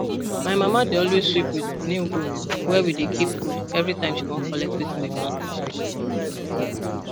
my mama dey always sweep with new broom where we dey keep food every time she wan collect wetin we plant from farm